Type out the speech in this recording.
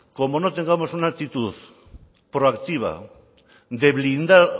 como no tengamos una actitud proactiva de blindar